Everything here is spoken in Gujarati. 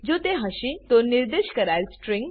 જો તે હશે તો નિર્દેશ કરાયેલ સ્ટ્રીંગ